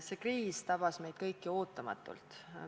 See kriis tabas meid kõiki ootamatult.